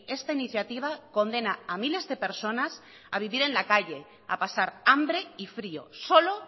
esta iniciativa condena a miles de personas a vivir en la calle a pasar hambre y frío solo